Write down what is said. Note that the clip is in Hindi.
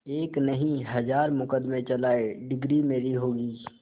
एक नहीं हजार मुकदमें चलाएं डिगरी मेरी होगी